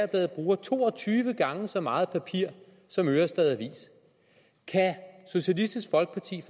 bladet bruger to og tyve gange så meget papir som ørestad avis kan socialistisk folkeparti